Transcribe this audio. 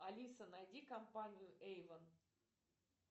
алиса найди компанию эйвон